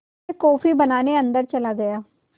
मैं कॉफ़ी बनाने अन्दर चला गया